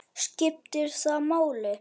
skiptir það máli?